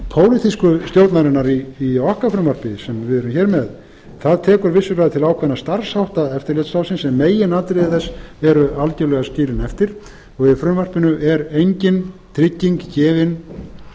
pólitísku stjórnarinnar í okkar frumvarpi sem við erum hér með tekur vissulega til ákveðinna starfshátta eftirlitsráðsins en meginatriði þess eru algjörlega skilin eftir og í frumvarpinu er engin